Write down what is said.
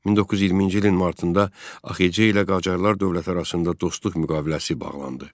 1920-ci ilin martında AXC ilə Qacarlar dövləti arasında dostluq müqaviləsi bağlandı.